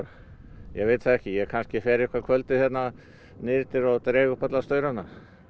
ég veit það ekki ég kannski fer eitthvað kvöldið hérna niður eftir og dreg upp alla staurana